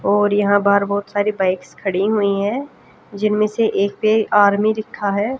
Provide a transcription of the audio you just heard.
और यहां बाहर बहोत सारी बाइक्स खड़ी हुई है जिनमें से एक पे आर्मी लिखा है।